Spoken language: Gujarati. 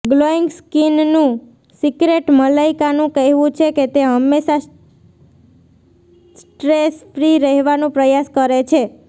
ગ્લોઈંગ સ્કિનનું સિક્રેટમલાઈકાનું કહેવું છે કે તે હંમેશા સ્ટ્રેસ ફ્રી રહેવાનું પ્રયાસ કરે છે